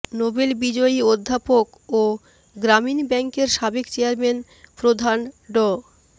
Nobel বিজয়ী অধ্যাপক ও গ্রামীণ ব্যাংকের সাবেক চেয়ারম্যান প্রধান ড